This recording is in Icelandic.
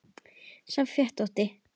sá fetótti